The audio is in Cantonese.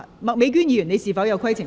麥美娟議員，你是否有規程問題？